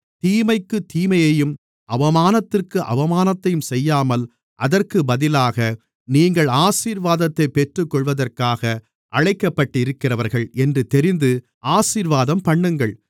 தீமைக்குத் தீமையையும் அவமானத்திற்கு அவமானத்தையும் செய்யாமல் அதற்குப் பதிலாக நீங்கள் ஆசீர்வாதத்தைப் பெற்றுக்கொள்வதற்காக அழைக்கப்பட்டிருக்கிறவர்கள் என்று தெரிந்து ஆசீர்வாதம்பண்ணுங்கள்